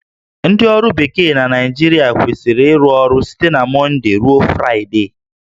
Ndị ọrụ bekee na Naịjirịa kwesịrị ịrụ ọrụ site na Mọndee ruo Fraịdee